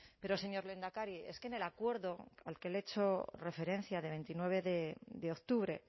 pero señor lehendakari es que en el acuerdo al que le he hecho referencia de veintinueve de octubre